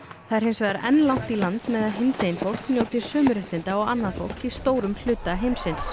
það er hins vegar enn langt í land með að hinsegin fólk njóti sömu réttinda og annað fólk í stórum hluta heimsins